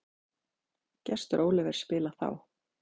Getur Oliver spilað þá?